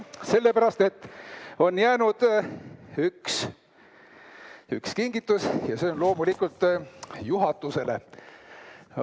Sellepärast et on jäänud üks kingitus ja see on loomulikult juhatusele.